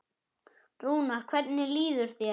Rúnar, hvernig líður þér?